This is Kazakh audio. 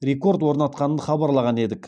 рекорд орнатқанын хабарлаған едік